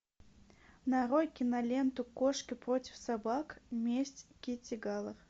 нарой киноленту кошки против собак месть китти галор